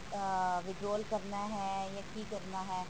ah withdraw ਕਰਨਾ ਹੈ ਜਾ ਕਿ ਕਰਨਾ ਹੈ